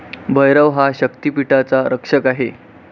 भैरव हा शक्तिपीठाचा रक्षक आहे.